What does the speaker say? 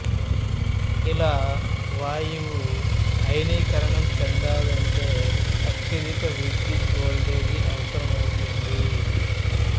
ఇలా వాయువు అయనీకరణం చెందాలంటే అత్యధిక విద్యుత్ వోల్టేజి అవసరమవుతుంది